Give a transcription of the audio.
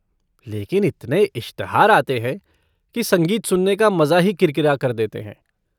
लेकिन इतने इश्तहार आते है की संगीत सुनने का मजा ही किरकिरा कर देते हैं।